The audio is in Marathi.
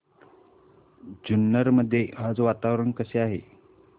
जुन्नर मध्ये आज वातावरण कसे आहे